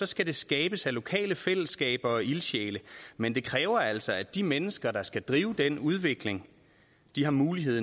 skal det skabes af lokale fællesskaber og ildsjæle men det kræver altså at de mennesker der skal drive den udvikling har mulighed